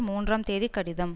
மூன்றாம் தேதிக் கடிதம்